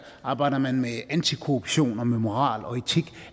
arbejder man med antikorruption og med moral og etik